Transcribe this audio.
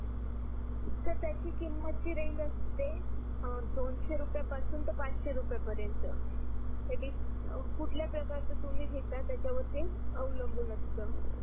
sir त्याचा किमतची range असते दोनसे रुपया पासून त पाचसे रुपया पर्यंत आणि कुठल्या प्रकारच तुम्ही घेतला त्याच्या वर ते अवलंबून असत